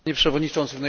Panie Przewodniczący!